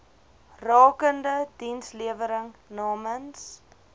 rakende dienslewering namens